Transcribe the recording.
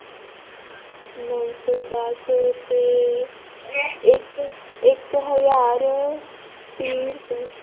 ਨੋ ਸੌ ਦੱਸ ਤੇ ਇੱਕ, ਇੱਕ ਹਜ਼ਾਰ ਤੀਹ ਰੁਪਏ l